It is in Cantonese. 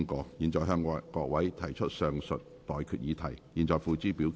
我現在向各位提出上述待決議題，付諸表決。